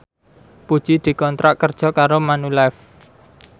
Puji dikontrak kerja karo Manulife